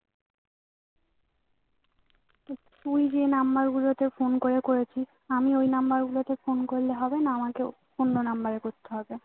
তুই যেই number গুলোতে phone করে করেছিস আমি ওই number গুলোতে phone করলে হবে না আমাকেও অন্য number এ করতে হবে